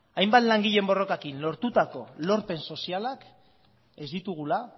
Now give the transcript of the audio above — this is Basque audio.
hainbat langileen borrokarekin lortutako lorpen sozialak ez ditugula